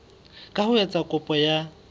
ka ho etsa kopo ya